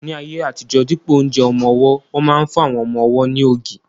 Ní ayé àtijọ́, dípò oúnjẹ ọmọ-ọwọ́, wọ́n máa n fún àwọn ọmọ-ọwọ́ ní ògì